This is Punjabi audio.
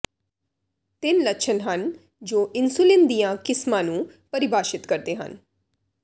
ਤਿੰਨ ਲੱਛਣ ਹਨ ਜੋ ਇਨਸੁਲਿਨ ਦੀਆਂ ਕਿਸਮਾਂ ਨੂੰ ਪਰਿਭਾਸ਼ਤ ਕਰਦੇ ਹਨ